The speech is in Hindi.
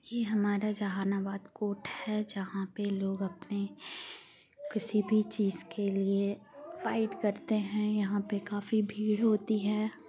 ये हमारा जहानाबाद कोर्ट है जहाँ पे लोग अपने किसी भी चीज के लिए फाइट करते हैं जहाँ पे काफी भीड़ होती है।